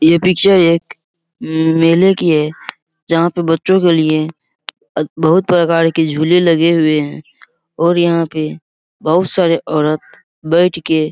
ये पिक्चर एक उम्म मेले की है जहाँ पे बच्चों के लिए अ बहुत प्रकार की झूले लगे हुए हैं और यहाँ पे बहुत सारे औरत बैठ के --